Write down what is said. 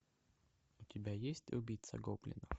у тебя есть убийца гоблинов